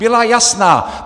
Byla jasná!